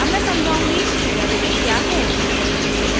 अब मैं समझाउंगी कि वेरिएबल क्या है